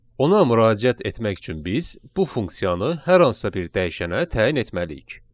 Ona müraciət etmək üçün biz bu funksiyanı hər hansısa bir dəyişənə təyin etməliyik.